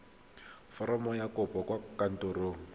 foromo ya kopo kwa kantorong